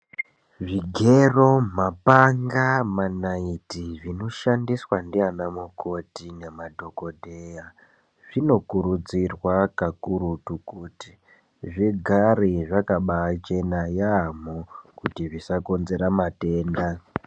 Zvigero ,mapanga ,manaiti zvinoshandiswa ndiyana mukoti nemadhongodheya , zvinokurudzirwa kakurutu kuti zvigare zvakabachena yabho kuti zvisakonzera matenda.